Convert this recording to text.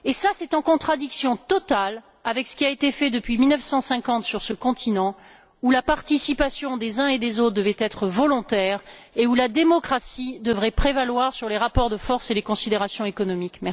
C'est en contradiction totale avec ce qui a été fait depuis 1950 sur ce continent, où la participation des uns et des autres devrait être volontaire et où la démocratie devrait prévaloir sur les rapports de force et les considérations économiques.